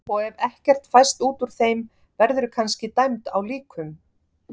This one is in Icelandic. Og ef ekkert fæst út úr þeim verðurðu kannski dæmd á líkum.